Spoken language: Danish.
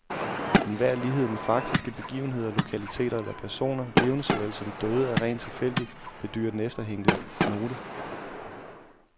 Enhver lighed med faktiske begivenheder, lokaliteter eller personer, levende såvel som døde, er rent tilfældig, bedyrer den efterhængte note.